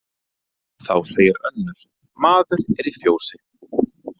Þá segir önnur: Maður er í fjósi